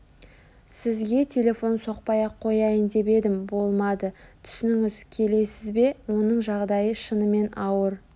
сізге телефон соқпай-ақ қояйын деп едім болмады түсініңіз келесіз бе оның жағдайы шынымен ауыр